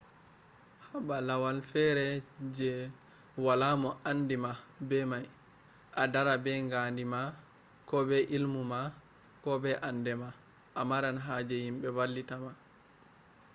haba lauwal fere je wala mo ande mah be mai ,a dara be gandi mah ko be ilmumah ko be ande mah a maran haje himbe vallita ma